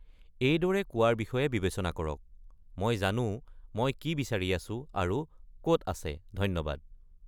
এইদৰে কোৱাৰ বিষয়ে বিবেচনা কৰক, "মই জানো মই কি বিচাৰি আছোঁ আৰু ক'ত আছে, ধন্যবাদ!"